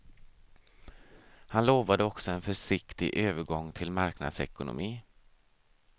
Han lovade också en försiktig övergång till marknadsekonomi.